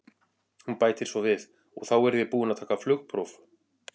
Hún bætir svo við: og þá verð ég búin að taka flugpróf.